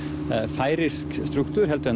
færeyskan strúktúr en